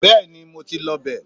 bẹẹni mo ti lọ bẹ